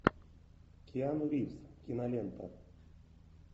киану ривз кинолента